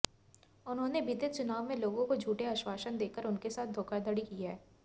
उन्होंने बीते चुनाव में लोगों को झूठे आश्वासन देकर उनके साथ धोखाधड़ी की है